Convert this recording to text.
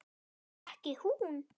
Það var ekki hún.